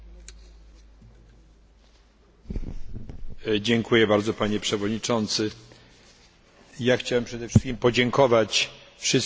Chciałem przede wszystkim podziękować wszystkim osobom, które zabrały głos w dyskusji, za niezwykłe wsparcie.